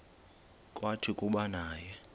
kwathi kuba naye